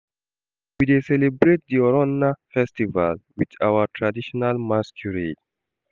We dey celebrate di Oronna festival wit our traditional masquerade.